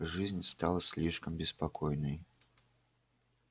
жизнь стала слишком беспокойной